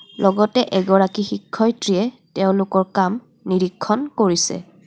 লগতে এগৰাকী শিক্ষত্ৰীয়ে তেওঁলোকৰ কাম নিৰীক্ষণ কৰিছে.